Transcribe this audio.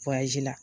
la